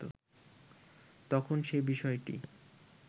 তখন সে বিষয়টি